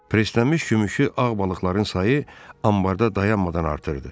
Preslənmiş gümüşü ağ balıqların sayı anbarda dayanmadan artırdı.